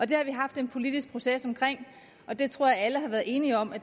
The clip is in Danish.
det har vi haft en politisk proces omkring og det tror jeg alle har været enige om